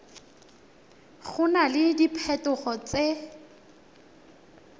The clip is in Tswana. go na le diphetogo tse